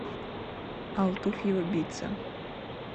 алтуфьево битца